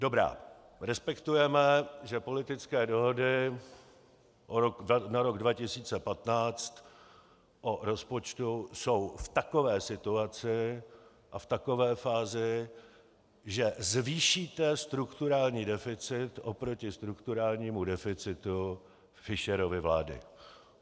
Dobrá, respektujeme, že politické dohody na rok 2015 o rozpočtu jsou v takové situaci a v takové fázi, že zvýšíte strukturální deficit oproti strukturálnímu deficitu Fischerovy vlády.